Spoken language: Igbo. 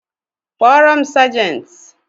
Kpọọ m sejenti.